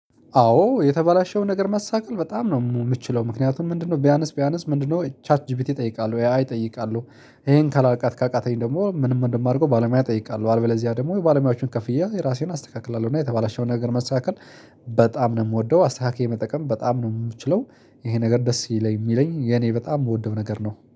አዎ የተባለሽውን ነገር ማሳካት በጣም ነው የምችለው ምክንያቱም ምንድነው? ቢያንስ ቢያንስ ምንድነው ቻት ጂፒቲ እጠይቃለሁ ኤ አይ እጠይቃለሁ። ይሄን ካላ ካቃተኝ ደግሞ ምንም እንደማርገው ባለሙያ እጠይቃለሁ። አልበለዚያ ደግሞ ባለሙያዎቹን ከፍዬ ራሴን አስተካክላለሁ። እና የተባላሸውን ነገር መስተካከል በጣም ነው የምወደው። አስተካክዬ መጠቀም በጣም ነው የምችለው። ይሄ ነገር ደስ ይለኝ የሚለኝ የኔ በጣም የምወደው ነገር ነው